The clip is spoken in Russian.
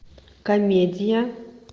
комедия